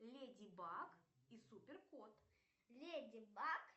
леди баг и супер кот